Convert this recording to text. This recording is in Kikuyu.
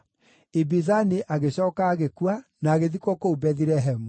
Ibizani agĩcooka agĩkua, na agĩthikwo kũu Bethilehemu.